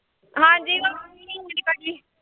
ਹਾਂਜੀ